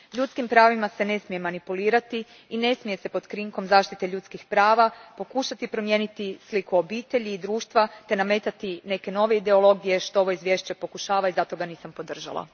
Ljudskim pravima ne smije se manipulirati i ne smije se pod krinkom zaštite ljudskih prava pokušati promijeniti sliku obitelji i društva te nametati neke nove ideologije, što ovo izvješće pokušava i zato ga nisam podržala.